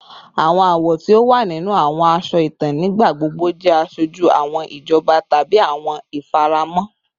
Awọn awọ ti o wa ninu awọn aṣọ itan nigbagbogbo jẹ aṣoju awọn ijọba tabi awọn ifaramọ